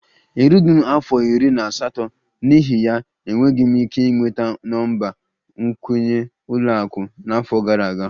Erughị m afọ iri na asatọ, n'ihi ya, enweghị m ike ịnweta nọmba nkwenye ụlọ akụ n'afọ gara aga